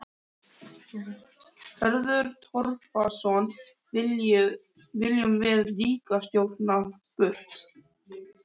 Hörður Torfason: Viljum við ríkisstjórnina burt?